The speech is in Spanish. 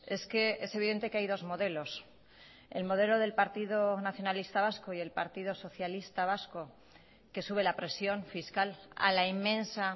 es que es evidente que hay dos modelos el modelo del partido nacionalista vasco y el partido socialista vasco que sube la presión fiscal a la inmensa